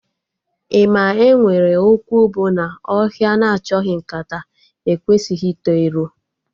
Ị ma enwere okwu bụ na ọhịa na achọghị nkata ekwesịghị ito ero?